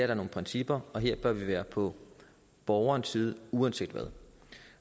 der nogle principper og her bør vi være på borgerens side uanset hvad